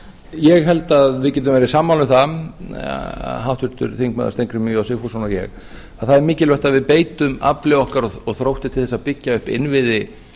ég held að við getum verið sammála um það háttvirtur þingmaður steingrímur j sigfússon og ég að það er mikilvægt að við beitum afli okkar og þrótti til þess að byggja upp innviði